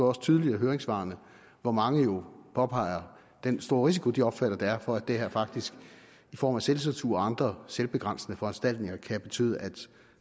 også tydeligt af høringssvarene hvor mange jo påpeger den store risiko de opfatter at der er for at det her faktisk i form af selvcensur og andre selvbegrænsende foranstaltninger kan betyde at